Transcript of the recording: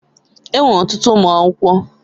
Enwere ọtụtụ ụmụ akwụkwọ.